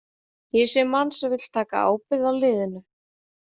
Ég sé mann sem vill taka ábyrgð á liðinu.